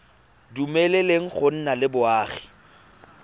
dumeleleng go nna le boagi